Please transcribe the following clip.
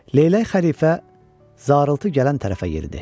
Leylək xəlifə zarıltı gələn tərəfə yeridi.